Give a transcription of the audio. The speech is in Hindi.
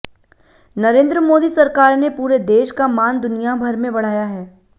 नरेंद्र मोदी सरकार ने पूरे देश का मान दुनिया भर में बढ़ाया है